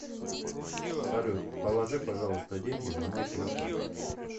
салют положи пожалуйста деньги на мой телефон